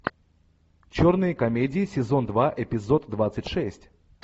черные комедии сезон два эпизод двадцать шесть